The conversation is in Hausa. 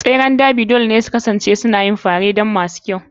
tseren Derby dole ne su kasance suna yin fare don masu kyau.